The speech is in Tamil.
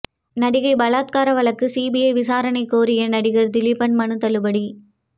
நடிகை பலாத்கார வழக்கு சிபிஐ விசாரணை கோரிய நடிகர் திலீப்பின் மனு தள்ளுபடி